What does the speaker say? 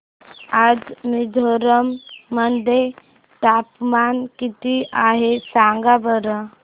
आज मिझोरम मध्ये तापमान किती आहे सांगा बरं